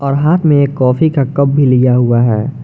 और हाथ में एक कॉफी का कप भी लिया हुआ है।